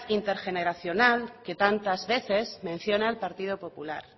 intergeneracional que tantas veces menciona el partido popular